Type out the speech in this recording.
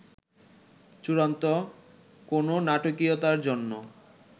চূড়ান্ত কোনো নাটকীয়তার জন্য